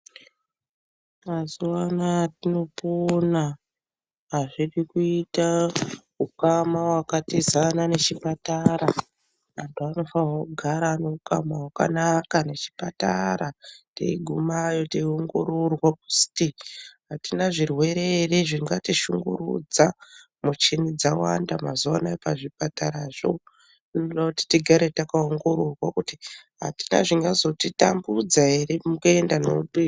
Mazuwa anaya atinopona azvidi kuita ukama wakatizana nechipatara. Anhu anofanirwa kugara ane ukama hwakanaka nechipatara teiguma teiongororwa kuti atina ere zvirwere zvingatishungurudza muchini dzawanda mazuwa anaya pazvipatarazvo. Zvinoda kuti kuti tigare takaongororwa kuti atina zvingazotitambudza ere mukuenda neupenyu.